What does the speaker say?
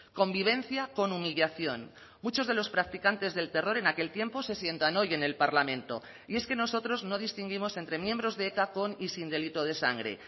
convivencia con humillación muchos de los practicantes del terror en aquel tiempo se sientan hoy en el parlamento y es que nosotros no distinguimos entre miembros de eta con y sin delito de sangre